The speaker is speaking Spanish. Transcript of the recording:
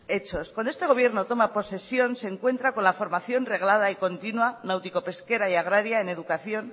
hechos cuando este gobierno toma posesión se encuentra con la formación reglada y continua náutico pesquera y agraria en educación